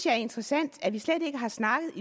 er interessant at vi slet ikke har snakket